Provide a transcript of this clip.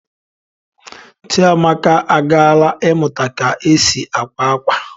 Chiamaka agaala ịmụta ka e si akwa akwa